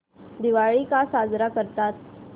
दिवाळी का साजरी करतात